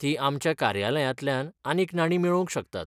तीं आमच्या कार्यालयांतल्यान आनीक नाणीं मेळोवंक शकतात.